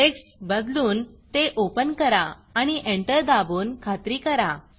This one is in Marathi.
टेक्स्ट बदलून ते Openओपन करा आणि एंटर दाबून खात्री करा